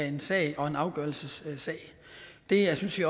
en sag og en afgørelsessag det synes vi